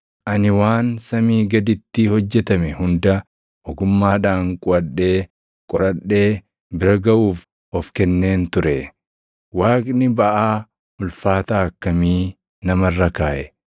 Ani waan samii gaditti hojjetame hunda ogummaadhaan quʼadhee qoradhee bira gaʼuuf of kenneen ture. Waaqni baʼaa ulfaataa akkamii nama irra kaaʼe!